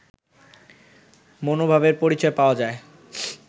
মনোভাবের পরিচয় পাওয়া যায়